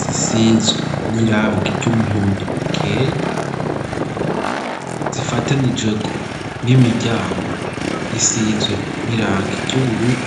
zisizwe n'irangi ry'umuhondo ukeye, zifatanijweko n'imiryango isizwe n'irangi ry'ubururu.